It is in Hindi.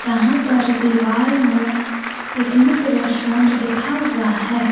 यहां पर दीवाल में पिकनिक रेस्टोरेंट लिखा हुआ है।